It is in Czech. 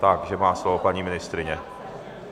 Takže má slovo paní ministryně.